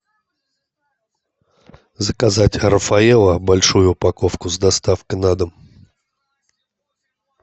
заказать рафаэлло большую упаковку с доставкой на дом